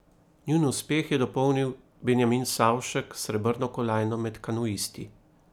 Njun uspeh je dopolnil Benjamin Savšek s srebrno kolajno med kanuisti.